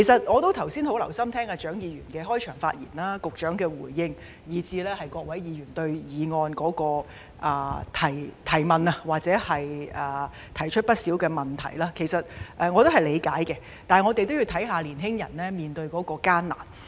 我剛才很留心聆聽蔣議員的開場發言、局長的回應及各位議員就議案提出的疑問，這些意見我是理解的，但我們要顧及青年人所面對的艱難。